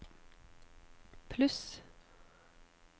pluss